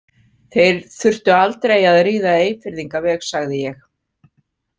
Þeir þurftu aldrei að ríða Eyfirðingaveg, sagði ég.